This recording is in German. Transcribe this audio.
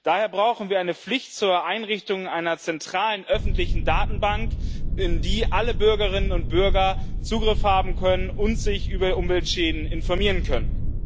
Daher brauchen wir eine Pflicht zur Einrichtung einer zentralen öffentlichen Datenbank, auf die alle Bürgerinnen und Bürger Zugriff haben und sich über Umweltschäden informieren können.